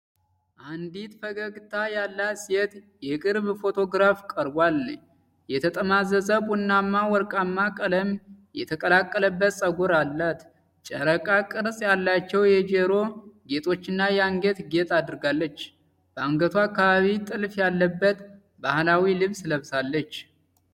አንዲት ፈገግታ ያላት ሴት የቅርብ ፎቶግራፍ ቀርቧል። የተጠማዘዘ ቡናማና ወርቃማ ቀለም የተቀላቀለበት ፀጉር አላት። የጨረቃ ቅርጽ ያላቸው የጆሮ ጌጦችና የአንገት ጌጥ አድርጋለች። በአንገቷ አካባቢ ጥልፍ ያለበት ባህላዊ ልብስ ለብሳለች።